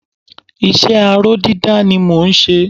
iṣẹ́ aró dídá ni mọ n ṣe